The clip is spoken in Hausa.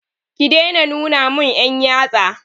Ki daina nuna mun 'yan yatsa!